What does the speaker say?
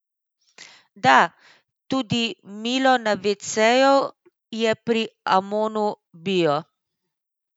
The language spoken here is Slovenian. Da, tudi milo na veceju je pri Amonu bio.